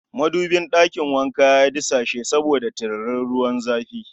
Madubin ɗakin wanka ya disashe saboda tiririn ruwan zafi